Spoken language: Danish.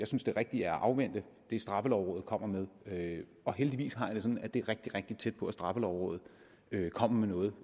synes det rigtige er at afvente det straffelovrådet kommer med med og heldigvis er det sådan at det er rigtig rigtig tæt på at straffelovrådet kommer med noget